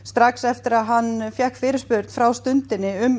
eftir að hann fékk fyrirspurn frá Stundinni um